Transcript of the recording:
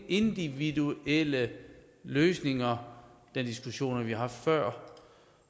individuelle løsninger den diskussion har vi haft før